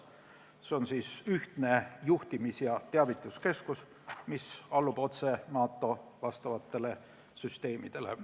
See on ühtne juhtimis- ja teavituskeskus, mis allub otse NATO vastavatele süsteemidele.